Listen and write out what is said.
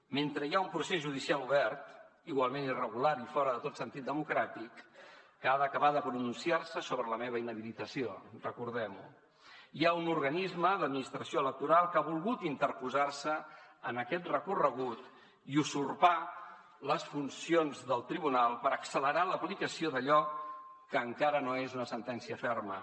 mentre hi ha un procés judicial obert igualment irregular i fora de tot sentit democràtic que ha d’acabar de pronunciar se sobre la meva inhabilitació recordem ho hi ha un organisme de l’administració electoral que ha volgut interposar se en aquest recorregut i usurpar les funcions del tribunal per accelerar l’aplicació d’allò que encara no és una sentència ferma